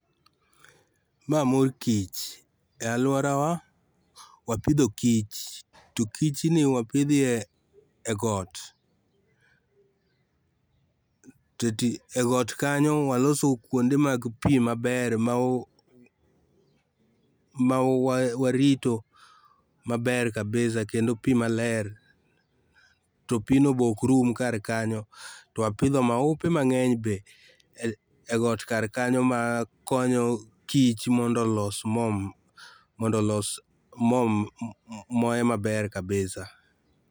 Mae mor kich,e aluorawa wapidho kich to kich ni wapidho e got, to e got kanyo waloso kuonde mag pii maber, mawa, mawarito maber kabisa kendo pii maler, to pino be ok rum kar kanyo to wapidho maupe mangeny be e got kar kanyo ma konyo kich mondo olos mo, mondo olos mo, olos moe maber kabisa